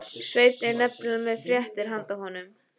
Svenni er nefnilega með fréttir handa honum.